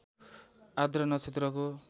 आर्द्रा नक्षत्रको